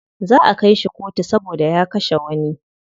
Za'a kai shi kotu saboda ya kashe wani.